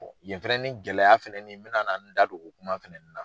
Yen fɛnɛni gɛlɛya fɛnɛni n bɛna na n da do o kuma fɛnɛ na.